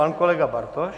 Pan kolega Bartoš.